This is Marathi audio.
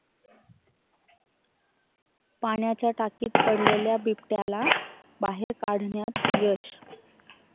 पाण्याच्या टाकीत पडलेल्या बिबट्याला बाहेर काढण्यात यश